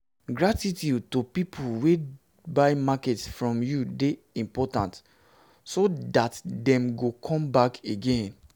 gratitude to pipo wey buy market from you de important so that dem go come back again